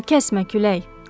Sən kəsmə külək!